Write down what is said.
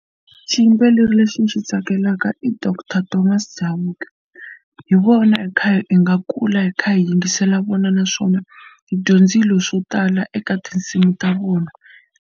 Xiyimbeleri lexi ni xi tsakelaka i doctor Thomas Chauke hi vona hi kha hi nga kula hi kha hi yingisela vona naswona hi dyondzile swo tala eka tinsimu ta vona.